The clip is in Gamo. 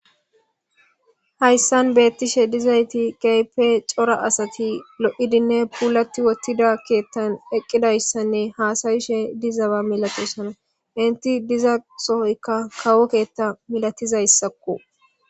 Hayssan betishshe dizzayththi kehippe coora assathi lo'dinne pullathi wottida keeththan eqqidaysanne hassaishshe dizzaba malathossona. Entti dizza sohoykka kawo keeththa millathizayssakko.